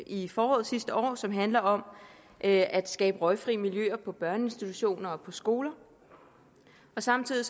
i foråret sidste år og som handler om at skabe røgfri miljøer på børneinstitutioner og på skoler samtidig